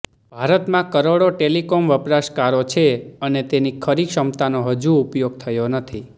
ભારતમાં કરોડો ટેલિકોમ વપરાશકારો છે અને તેની ખરી ક્ષમતાનો હજુ ઉપયોગ થયો નથી